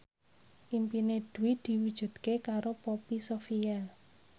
impine Dwi diwujudke karo Poppy Sovia